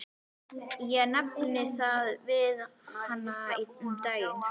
Ég nefndi það við hana um daginn.